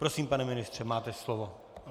Prosím, pane ministře, máte slovo.